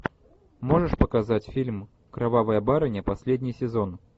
можешь показать фильм кровавая барыня последний сезон